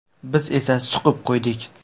Biz esa suqib qo‘ydik.